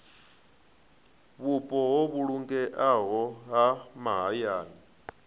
vhupo ho vhulungeaho ha mahayani